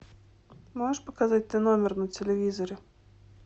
можешь показать т номер на телевизоре